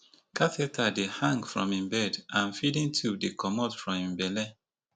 catheter dey hang from im bed and feeding tube dey comot from im belle